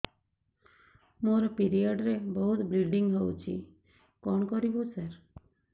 ମୋର ପିରିଅଡ଼ ରେ ବହୁତ ବ୍ଲିଡ଼ିଙ୍ଗ ହଉଚି କଣ କରିବୁ ସାର